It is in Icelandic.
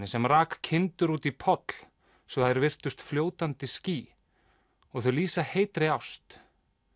sem rak kindur út í poll svo þær virtust fljótandi ský og þau lýsa heitri ást